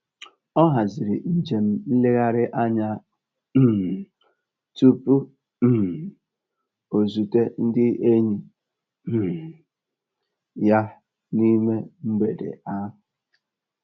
Ọ haziri nje m nleghari anya um tupu um o zute ndị enyi um ya n'ime mgbede ahụ